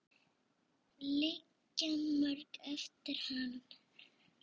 Liggja mörg verk eftir hann.